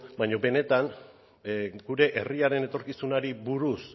baina benetan gure herriaren etorkizunari buruz